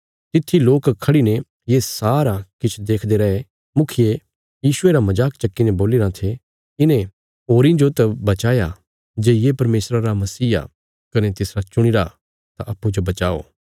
तित्थी लोक खढ़ी ने ये सरा किछ देखदे रैये मुखिये यीशुये रा मजाक चक्की ने बोलीराँ थे इने होरीं जो त बचाया जे ये परमेशरा रा मसीह आ कने तिसरा चुणीरा तां अप्पूँजो बचाओ